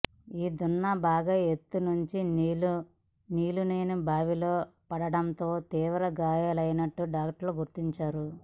ఈ దున్న బాగా ఎత్తునుండి నీళ్లు లేని బావిలో పడటంతో తీవ్ర గాయాలైనట్లు డాక్టర్లు గుర్తించారు